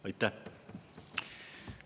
Aitäh!